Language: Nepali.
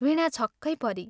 वीणा छक्कै परी।